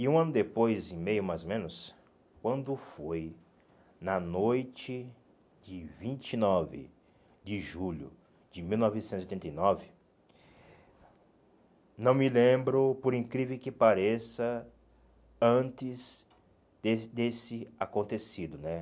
E um ano depois, e meio mais ou menos, quando foi, na noite de vinte e nove de julho de mil novecentos e oitenta e nove, não me lembro, por incrível que pareça, antes desse desse acontecido, né?